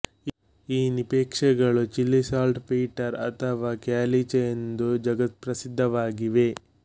ಈ ನಿಕ್ಷೇಪಗಳು Chile saltpetre ಅಥವಾ ಕ್ಯಾಲಿಚೆ ಎಂದು ಜಗತ್ಪ್ರಸಿದ್ಧವಾಗಿವೆ